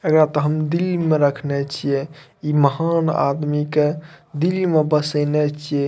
एकरा त हम दिल में रखने छिये इ महान आदमी के दिल में बसेने छिये।